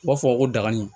U b'a fɔ ko dagani